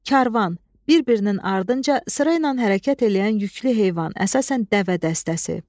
Karvan, bir-birinin ardınca, sıraynan hərəkət eləyən yüklü heyvan, əsasən dəvə dəstəsi.